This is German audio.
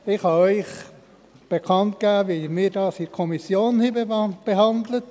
der SiK. Ich kann Ihnen bekannt geben, wie wir dies in der Kommission behandelt haben.